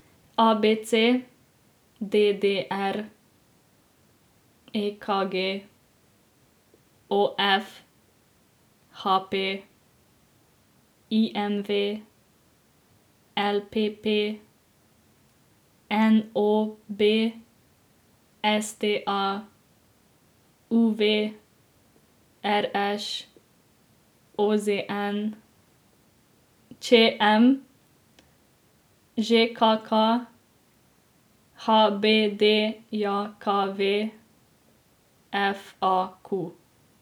A B C; D D R; E K G; O F; H P; I M V; L P P; N O B; S T A; U V; R Š; O Z N; Č M; Ž K K; H B D J K V; F A Q.